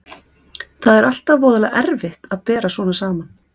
Það er alltaf voðalega erfitt að bera svona saman.